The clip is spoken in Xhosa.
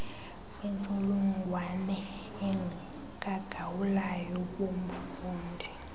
bentsholongwane kagaulayo bomfundi